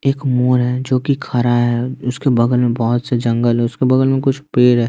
एक मोर है जो कि खरा है उसके बगल में बहुत से जंगल है उसके बगल में कुछ पेड़ है।